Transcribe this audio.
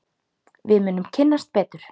Við munum kynnast betur.